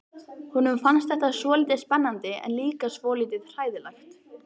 Honum fannst þetta svolítið spennandi en líka svolítið hræðilegt.